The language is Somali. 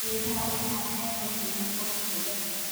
Geedaha ubaxa waxay kordhiyaan quruxda beerta.